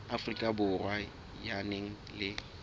afrika borwa ya nang le